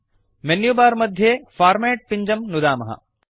menu bar मध्ये format पिञ्जं नुदामः